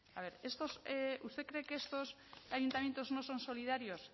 a ver usted cree que estos ayuntamientos no son solidarios